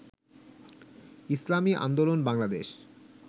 Islami Andolan Bangladesh